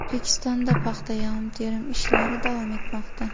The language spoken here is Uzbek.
O‘zbekistonda paxta yig‘im-terim ishlari davom etmoqda.